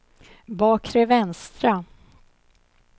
bakre vänstra